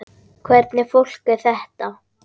Hvernig fólk er þetta?